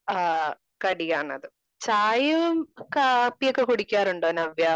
ആ കടിയാണത് . ചായയും കാപ്പിയുമൊക്കെ കുടിക്കാറുണ്ടോ നവ്യ?